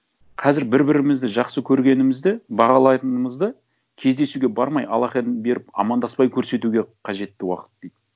қазір бір бірімізді жақсы көргенімізді бағалайтынымызды кездесуге бармай алақанын беріп амандаспай көрсетуге қажетті уақыт дейді